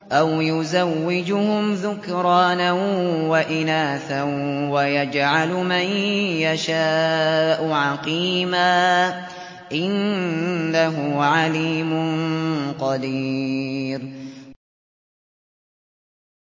أَوْ يُزَوِّجُهُمْ ذُكْرَانًا وَإِنَاثًا ۖ وَيَجْعَلُ مَن يَشَاءُ عَقِيمًا ۚ إِنَّهُ عَلِيمٌ قَدِيرٌ